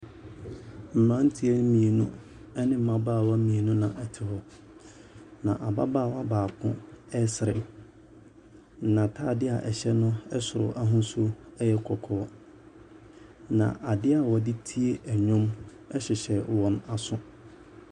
Mmeranteɛ mmienu ne mmabaawa mmienu na wɔte hɔ, na ababaawa baako resere. N'atadeɛ a ɛhyɛ no soro ahosuo yɛ kɔkɔɔ. Na adeɛ a wɔde tie nnwom hyehyɛ wɔn aso.